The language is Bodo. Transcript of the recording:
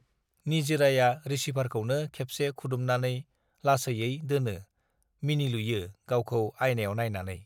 निजिराया रिसिभारखौनो खेबसे खुदुमनानै लासैयै दोनो मिनिलुयो गावखौ आइनायाव नायनानै